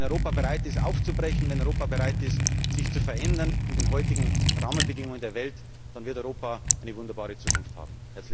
Wenn Europa bereit ist, aufzubrechen, wenn Europa bereit ist, sich zu verändern in den heutigen Rahmenbedingungen der Welt, dann wird Europa eine wunderbare Zukunft haben!